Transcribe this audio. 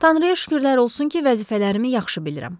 Tanrıya şükürlər olsun ki, vəzifələrimi yaxşı bilirəm.